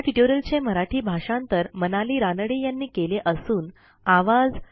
ह्या ट्युटोरियलचे मराठी भाषांतर मनाली रानडे यांनी केले असून आवाज